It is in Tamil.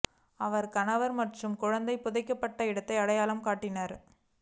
அவர் கணவர் மற்றும் குழந்தை புதைக்கப்பட்ட இடத்தை அடையாளம் காட்டினார்